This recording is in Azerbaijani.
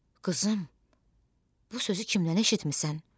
Qızım, bu sözü kimdən eşitmisən?